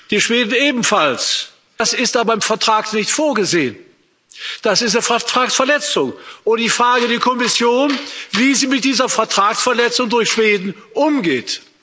Die Schweden ebenfalls das ist aber im Vertrag nicht vorgesehen. Das ist eine Vertragsverletzung, und ich frage die Kommission, wie sie mit dieser Vertragsverletzung durch Schweden umgeht.